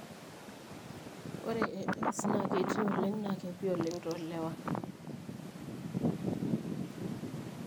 Ore AS na ketii oleng na kepiimoleng tolewa.